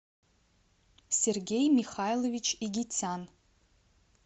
сергей михайлович игитян